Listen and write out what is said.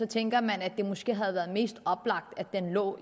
tænker man at det måske havde været mest oplagt at den lå